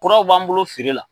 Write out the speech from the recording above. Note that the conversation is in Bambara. Kuraw b'an bolo feere la.